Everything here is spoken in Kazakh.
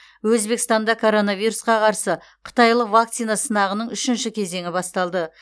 өзбекстанда коронавирусқа қарсы қытайлық вакцина сынағының үшінші кезеңі басталды